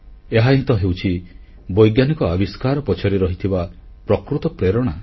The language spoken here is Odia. ଏହାହିଁ ତ ହେଉଛି ବୈଜ୍ଞାନିକ ଆବିଷ୍କାର ପଛରେ ରହିଥିବା ପ୍ରକୃତ ପ୍ରେରଣା